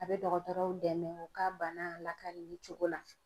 A bɛ dɔgɔtɔrɔw dɛmɛ u ka bana lakalili cogo la.